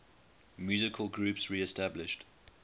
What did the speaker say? musical groups reestablished